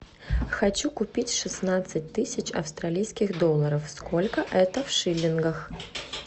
хочу купить шестнадцать тысяч австралийских долларов сколько это в шиллингах